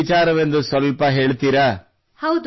ಅದೇನು ವಿಚಾರವೆಂದು ಸ್ವಲ್ಪ ಹೇಳುತ್ತೀರಾ